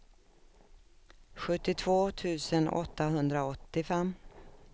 sjuttiotvå tusen åttahundraåttiofem